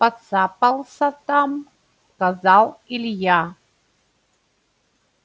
поцапался там сказал илья